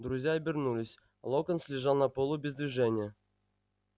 друзья обернулись локонс лежал на полу без движения